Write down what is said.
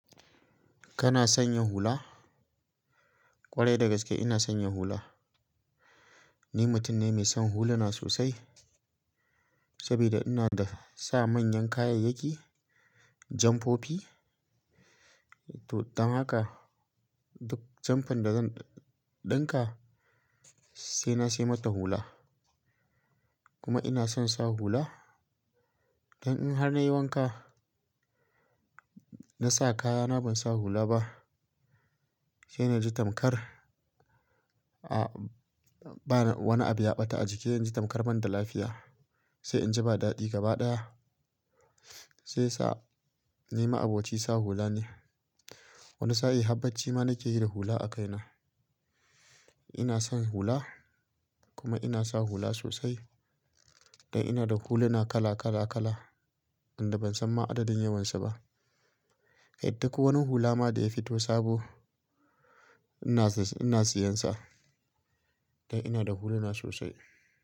Kana sanya hula? Kwarai da gaske ina sanya hula. Ni mutum ne mai son huluna sosai saboda ina da sa manyan kayayyaki, janfofi. To don haka duk janfin da zan ɗinka sai na sai mata hula. Kuma ina son sa hula. Dan in har na yi wanka na sa kayana ban sa hula ba, sai na ji tamkar a, bana wani abu ya ɓata a jiki. Na ji tamkar ban da lafiya sai in ji ba daɗi gaba ɗaya. Shiyasa ni ma abocin sa hula ne. Wani sa'in har bacci ma nake yi da hula a kaina. Ina son hula kuma ina sa hula sosai. Dan ina da huluna kala, kala, kala, inda ban san ma adadin yawansu ba. Kai dai ko wani hula ma da ya fito sabo ina siyan sa. Dan ina da huluna sosai.